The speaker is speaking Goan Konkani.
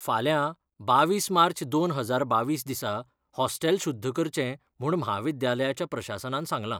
फाल्यां बावीस मार्च दोन हजार बावीस दिसा हॉस्टेल शुद्ध करचें म्हूण म्हाविद्यालयाच्या प्रशासनान सांगलां.